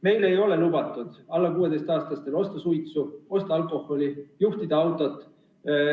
Meil ei ole lubatud alla 16-aastastel osta suitsu, osta alkoholi, juhtida autot.